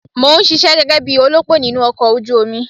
Mò ń ṣisẹ́ gẹ́gẹ́ bí olópò nínú ọkọ̀ ojú omi.